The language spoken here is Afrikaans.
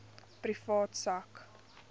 privaat sak